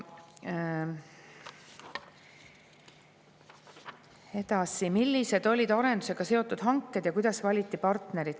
Edasi: "Millised olid arendusega seotud hanked ja kuidas valiti partnerid?